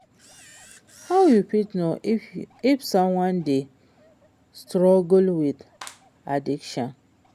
how you fit know if someone dey struggle with addiction?